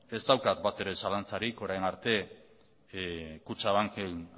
ez daukat batere zalantzarik orain arte kutxabanken